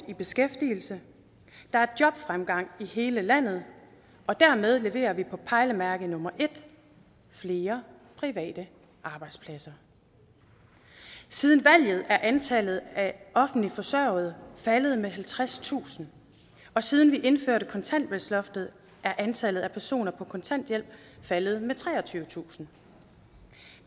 i beskæftigelse der er jobfremgang i hele landet og dermed har vi leveret på pejlemærke nummer et flere private arbejdspladser siden valget er antallet af offentligt forsørgede faldet med halvtredstusind og siden vi indførte kontanthjælpsloftet er antallet af personer på kontanthjælp faldet med treogtyvetusind